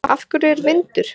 Af hverju er vindur?